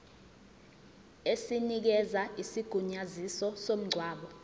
esinikeza isigunyaziso somngcwabo